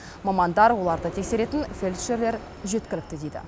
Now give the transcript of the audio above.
мамандар оларды тексеретін фельдшерлер жеткілікті дейді